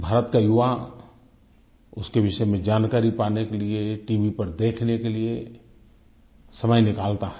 भारत का युवा उसके विषय में जानकारी पाने के लिए टीवी पर देखने के लिए समय निकालता है